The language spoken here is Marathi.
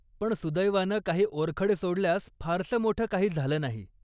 पण सुदैवानं काही ओरखडे सोडल्यास फारसं मोठं काही झालं नाही.